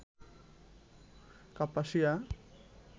Kapasia